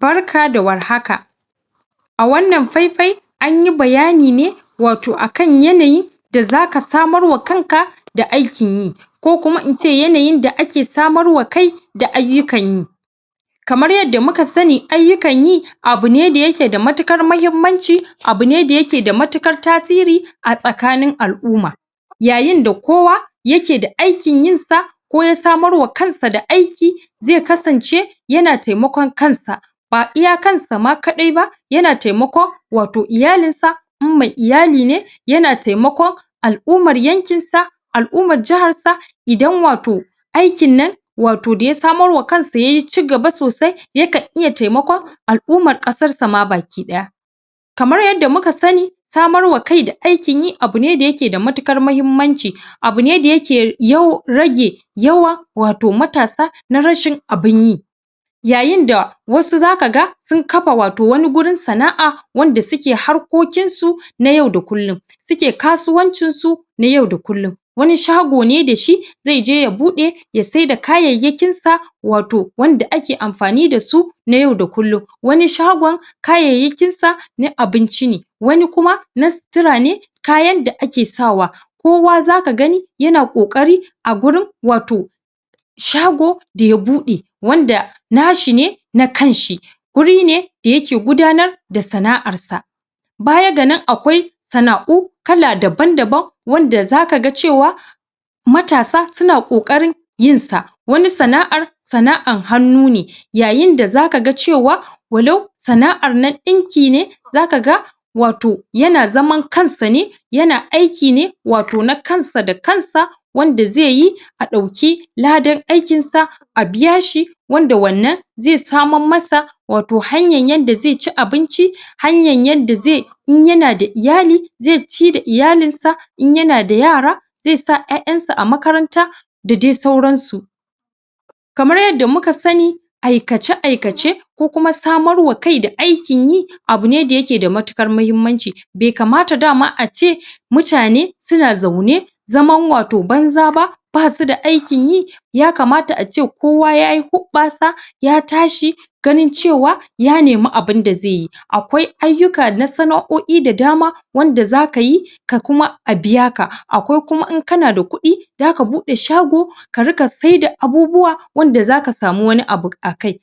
barka da war haka a wannan faifai an yi bayani ne wato akan yanayi da zaka samar wa kan ka da aikin yi ko kuma ince yanayin da ake samar wa kai da ayyukan yi kamar yadda muka sani ayyukan yi abu ne da yake da matuƙar mahimmanci abu ne da yake da matuƙar tasiri a tsakanin al'umma. Yayin da kowa yake da aikin yin sa ko ya sanar wa kansa da aikin ziai kasance ya kasance yana taimakon kansa ba iya kansa ma kaɗai ba yana taimakon wato iyalin sa in mai iyali ne yana taimakon al 'umma yankin sa, alumman jahar sa idan wato aikin nan wato da ya samar wa kan sa wato yaci gaba sosai yakan iya taimakon al' ummar ƙasar sa ma ba ki ɗaya. Kamar yadda muka sani samar wa iai da abu ne da yake da matuƙar mahimmanci abu ne da yake yawan rage yawan wato matasa nz rashun abin yi yayin da wasu zaka ga sun kafawato wani gurin sana'a wanda suke harkokin su na yau da kullun suke kasuwancin su na yau kulluun wani shago ne da shi zai je ya buɗe ya sai da kayayyakin sa wato wanda ake anfani da su na yau kullun wani shagon kayayyakin sa na abinci ne wani kuma na na sutura na kayan sa ake sawa kowa zaka gani yana kokari a gurin wato shago da ya buɗe wanda nashine na kan shi wuri ne da yake gudanar da sana'ar s sa baya ga nan akwai sana'u kala daban daban wanda zaka ga cewa matasa suna kokarin yin sa wani sana'ar sana'an hannu ne yayin da zaka ga cewa walau sana'ar na ɗinkin ne zaka ga wato yana zaman kansa ne yana aiki ne wato na kansa da kans wanda zai yi a dauki ladan aikin sa abiya shi wanda wannan zai samar masa wato hanyan yanda zai ci abinci hanyan yanda zai in yana da iyali zai ci da iyalin s sa in yana da yara zai sa su a makaranta da dai sauran su kamar yadda muka sani aikace aikace ko kuma samar wa kai da aikin yi abu ne daya ke da matuk kar mahimmanci bai kamata dana ace mutane suna zaune zaman wato banza ba basu da aikin yi yakama ace kowa yayi hu ɓasa ya tashi ganin cewa ya nemi aibin da zai yi akwai sana'u sana'oi da dama wanda zaka yi ka kuma abiya ka akwai kuma in kana da kuɗi zaka buɗe shago karika sai da abubuwa wanda zaka samu wani abu akai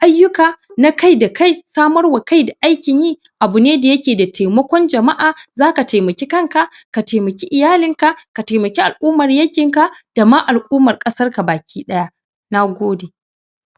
ayyuka na kai dakai samar wa kai da aikin yi abu ne da yake da taimakon jama'a zaka taimaki kanka ka taimaki iyalin ka, ka taimaki al alumman yankin ka dama al ummar ƙasa ka ba ki ɗaya. Nagode